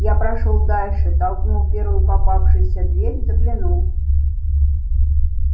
я прошёл дальше толкнул первую попавшуюся дверь заглянул